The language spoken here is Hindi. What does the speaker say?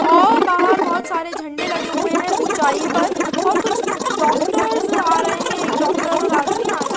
आओ बहार बहोत सारे झंडे लगे हुए है उचाई पर और कुछ डॉक्टर्स आ रहे है एक डॉक्टर और आदमी आ रहा है।